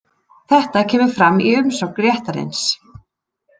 Þetta kemur fram í umsögn réttarins